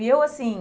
E eu, assim,